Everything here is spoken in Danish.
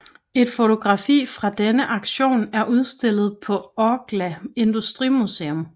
Et fotografi fra denne aktion er udstillet på Orkla Industrimuseum